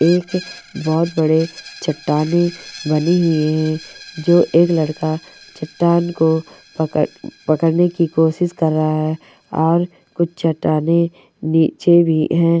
एक बहोत बड़े चट्टानें बनी हुई है जो एक लड़का चट्टान को पकड़-पकड़ने की कोशिश कर रहा है और कुछ चट्टाने नीचे भी हैं।